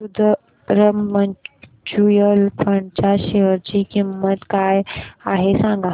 Sundaram mutual fund च्या share ची किंमत काय आहे सांगा